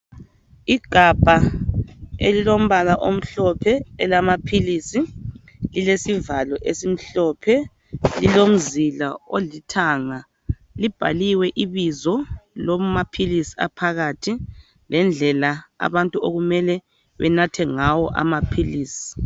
Igabha elilombala omhlophe elamaphilisi lilesivalo esimhlophe, lilomzila olithanga libhaliwe ibizo lamaphilisi aphakathi lendlela abantu okumele benathe ngawo amaphilisi